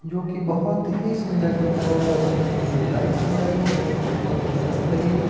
जो की बहोत ही सुंदर दिख रहा है और जिम में जो लाइट्स लगाई है वो एकदम मस्त लगी हुई है।